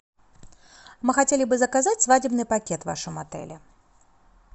мы хотели бы заказать свадебный пакет в вашем отеле